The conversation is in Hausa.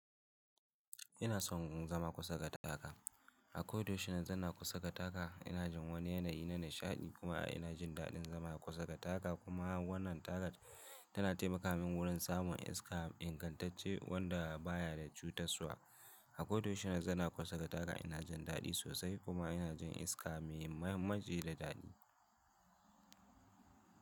Ina son zama kusa da taga. A koda yaushe na zauna kusa da taga, ina jin wani yanayi na nishaɗi kuma ina jin daɗin zama a kusa da taga kuma wannan taga tana taimaka min wurin samun iska ingantacce wanda baya da cutarwa. A koda yaushe na sauna kusa da taga ina jin daɗi sosai kuma ina jin iska mai mamaci da daɗi.